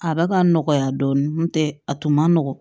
A bɛ ka nɔgɔya dɔɔnin n'o tɛ a tun man nɔgɔn